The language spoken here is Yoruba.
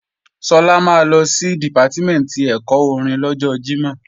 Sọlá máa lọ sí Dìpátímẹ̀ntì ẹ̀kọ́ orin lọ́jọ Jímọ̀